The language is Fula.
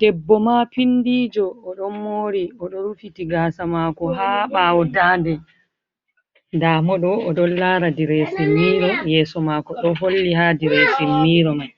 Debbo ma pindijo o don mori, oɗo rufiti gasa mako ha ɓawo dande, ndamo ɗo o ɗon lara diressin miro yeso mako ɗo holli ha diresin miro mai,